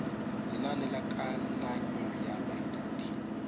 lenane la kananyo ya baithuti